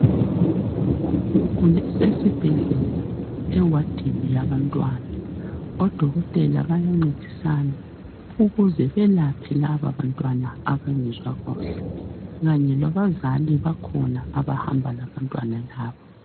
Ugula esesibhedlela, ewadini yabantwana. Odokotela bayancedisana ukuze belaphe lababantwana abangezwa kuhle. Kanye labazali bakhona, abahamba labantwana laba.